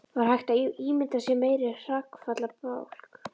Var hægt að ímynda sér meiri hrakfallabálk?